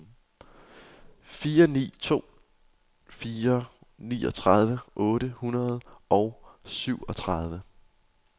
fire ni to fire niogtredive otte hundrede og syvogtredive